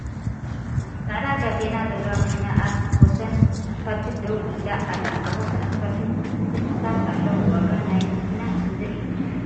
ፃዕዳ ጋቤና ዘለዋ መኪና ኣብ ወሰን እስፓልቲ ደው ኢላ ኣላ ። ኣብ ወሰን እስፓልቲ ትክልታት ኣለዉ ። ዋጋ ናይታ መኪና ክንደይ እዩ ?